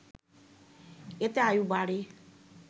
এতে আয়ু বাড়ে